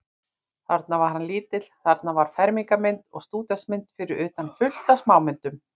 Þarna var hann lítill, þarna var fermingarmynd og stúdentsmynd, fyrir utan fullt af smámyndum.